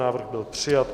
Návrh byl přijat.